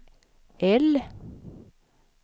L